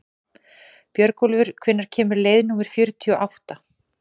Björgólfur, hvenær kemur leið númer fjörutíu og átta?